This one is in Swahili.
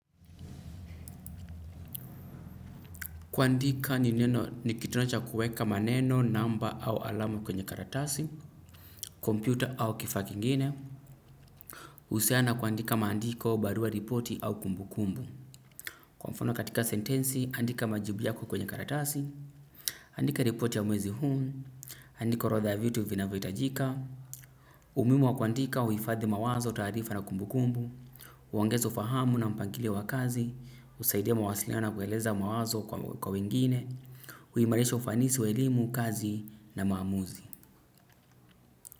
Kuandika ni neno ni kitonocha kueka maneno, namba au alama kwenye karatasi, kompyuta au kifaa kingine. Husiana na kuandika maandiko barua ripoti au kumbu kumbu. Kwa mfano katika sentensi, andika majibu yako kwenye karatasi. Andika ripoti ya mwezi huu. Andika orodha vitu vinavyo hitajika. Umuhimu wa kuandika huifadhi mawazo taarifa na kumbu kumbu. Uongeza ufahamu na mpangilio wakazi. Husaidia mawasiliano ya kueleza mawazo kwa wengine. Huimarisha ufanisi wa elimu, kazi na maamuzi.